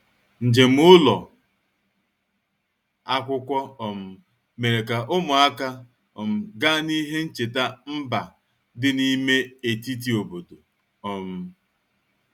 Njem ụlọ akwụkwọ um mere ka ụmụaka um gaa n'ihe ncheta mba dị n'ime etiti obodo. um